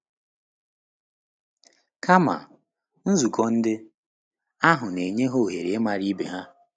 Kama, nzukọ ndị ahụ na-enye ha ohere ịmara ibe ha.